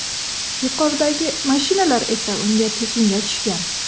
Yuqoridagi mashinalar esa unga tekinga tushgan.